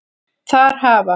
Þar hafa